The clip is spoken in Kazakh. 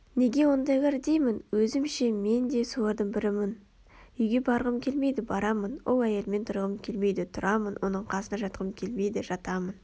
неге ондайлар деймін өзім ше мен де солардың бірімін Үйге барғым келмейді барамын ол әйелмен тұрғым келмейді тұрамын оның қасына жатқым келмейді жатамын